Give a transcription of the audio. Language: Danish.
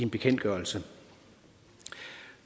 bekendtgørelse